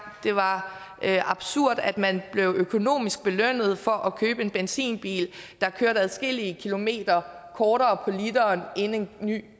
det var absurd at man blev økonomisk belønnet for at købe en benzinbil der kørte adskillige kilometer kortere på literen end en ny